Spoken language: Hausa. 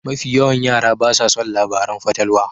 Mafi yawan yara basa son labaran fatalwa.